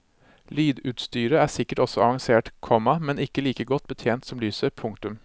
Lydutstyret er sikkert også avansert, komma men ikke like godt betjent som lyset. punktum